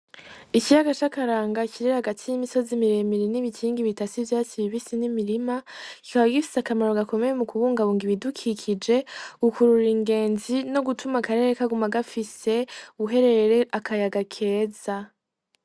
Ikiyagaca akaranga kirira agati y'imisozi miremiri n'ibikingi bita sivyasibibisi n'imirima kikawa gifise akamaro gakomeye mu kubunga bunga ibidukikije gukurura ingenzi no gutuma akarere kaguma gafise uherere akayaga keza.